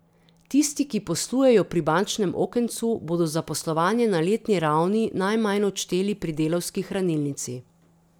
Tisti, ki poslujejo pri bančnem okencu, bodo za poslovanje na letni ravni najmanj odšteli pri Delavski hranilnici.